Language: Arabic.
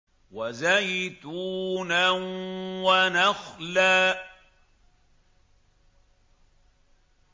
وَزَيْتُونًا وَنَخْلًا